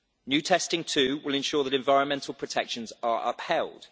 New testing, too, will ensure that environmental protections are upheld.